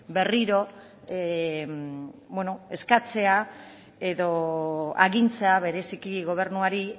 berriro eskatzea edo agintzea bereziki gobernuari